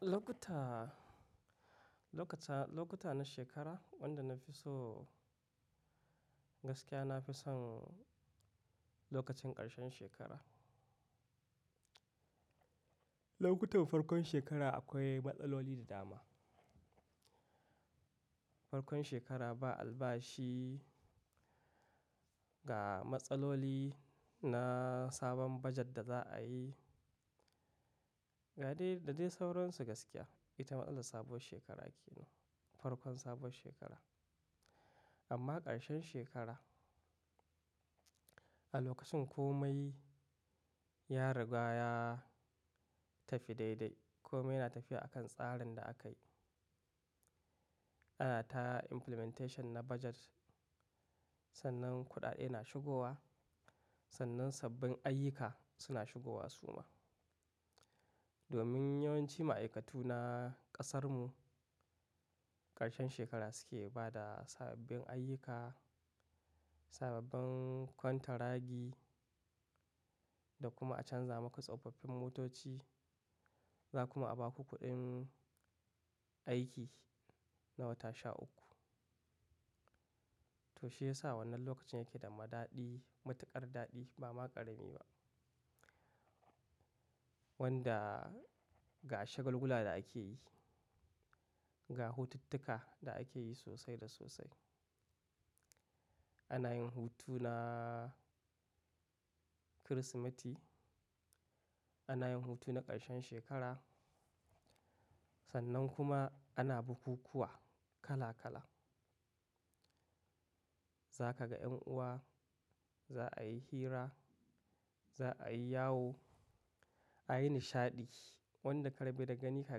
Lokuta, lokuta, lokuta na shekara wanda na fi so, gaskiya na fi son lokacin ƙarshen shekara. Lokutan farkon shekara akwai matsaloli da dama. Farkon shekara ba albashi, ga matsaloli na sabon bajet da za'a yi, ga dai da dai sauransu gaskiya. Ita matsalar sabuwar shekara ke nen, farkon sabuwar shekara. Amma ƙarshen shekara, a lokacin komai ya riga ya tafi daidai, komai na tafiya akan tsarin da aka yi. Ana ta implementation na bajet, sannan kuɗaɗe na shigowa, sannan sabbin ayyuka suna shigowa suma. Domin yawanci ma'aikatu na ƙasarmu, ƙarshen shekara suke bada sababbin ayyuka, sababbin kwantaragi, da kuma a canza maka tsofaffin motoci. Za kuma a ba ku kuɗin aiki na wata sha uku. To shiyasa wannan lokacin yake da ma daɗi, matuƙar daɗi ba ma ƙarami ba. Wanda ga shagulgula da ake yi, ga hotuttuka da ake yi sosai da sosai. Ana yin hutu na Kirsimeti, ana yin hutu na ƙarshen shekara. Sannan kuma ana bukukuwa kala kala. Za ka ga ’yan'uwa, za'a yi hira, za'a yi yawo, a yi nishaɗi wanda karba da gani ka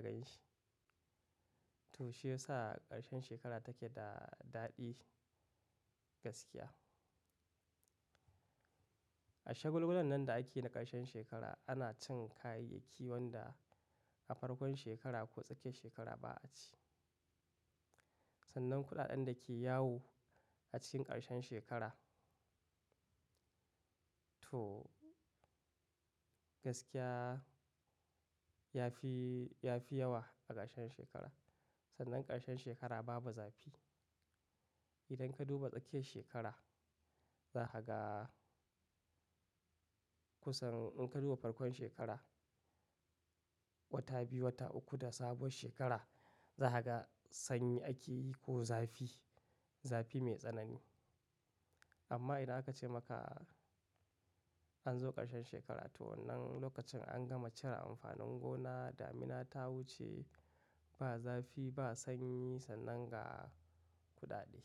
ganshi. To shiyasa ƙarshen shekara take da daɗi gaskiya. A shagulgulan nan da ake na ƙarshen shekara ana cin kayayyaki wanda a farkon shekara ko tsakiyar shekara ba a ci. Sannan kuɗaɗen da ke yawo a cikin ƙarshen shekara. To gaskiya ya fi, ya fi yawa a ƙarshen shekara. Sannan ƙarshen shekara babu zafi. Idan ka duba tsakiyar shekara, za ka ga kusan in ka duba farkon shekara, wata biyu, wata uku da sabuwar shekara za ka ga sanyi ake yi ko zafi, zafi mai tsanani. Amma idan aka ce maka, an zo ƙarshen shekara to wannan lokacin an gama cire amfanin gona, damina ta wuce, ba zafi, ba sanyi sannan ga kuɗaɗe.